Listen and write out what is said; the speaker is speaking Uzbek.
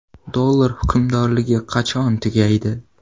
Dollar hukmronligi qachon tugaydi?